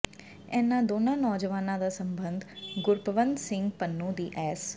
ਇਹਨਾਂ ਦੋਨਾਂ ਨੌਜਵਾਨਾਂ ਦਾ ਸਬੰਧ ਗੁਰਪਤਵੰਤ ਸਿੰਘ ਪੰਨੂ ਦੀ ਐੱਸ